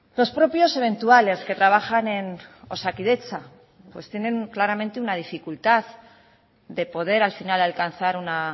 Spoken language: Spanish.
los propios eventuales que trabajan en osakidetza pues tienen claramente una dificultad de poder al final alcanzar una